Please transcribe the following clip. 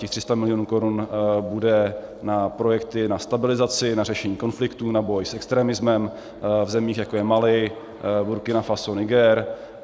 Těch 300 milionů korun bude na projekty na stabilizaci, na řešení konfliktů, na boj s extremismem v zemích, jako je Mali, Burkina Faso, Niger.